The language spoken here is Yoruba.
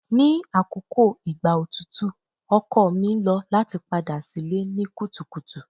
Ni akoko igba otutu ọkọ mi lo lati pada si ile ni kutukutu